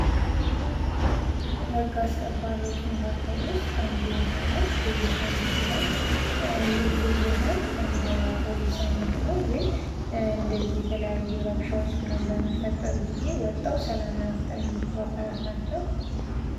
ከህግ አስከባሪዎች መካከል ውስጥ አንዱ የሆነው ልዩ ኃይል ሲሆን ይህ ልዩኃይል የፖሊስ አይነት ነው ግን እንደዚህ የተለያዩ ረብሻዎች ምናምን በሚፈጠር ጊዜ ወጥተው ሰላም ለመፍጠር የሚችሉ አካላት ናቸው።